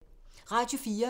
Radio 4